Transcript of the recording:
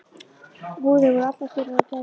Húðir voru allar þurrar og gærur.